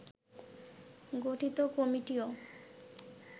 গঠিত কমিটিও